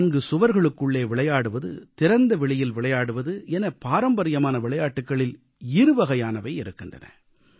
நான்கு சுவர்களுக்குள்ளே விளையாடுவது திறந்தவெளியில் விளையாடுவது என பாரம்பரியமான விளையாட்டுகளில் இருவகையானவை இருக்கின்றன